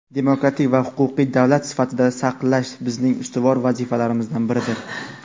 demokratik va huquqiy davlat sifatida saqlash bizning ustuvor vazifalarimizdan biridir.